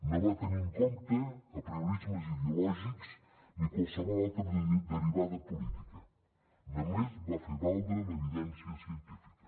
no va tenir en compte apriorismes ideològics ni qualsevol altra derivada política només va fer valdre l’evidència científica